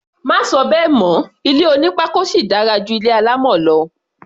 Má sọ bẹ́ẹ̀ mọ́! Ilé onípákó sì dára ju ti alámọ̀ lọ.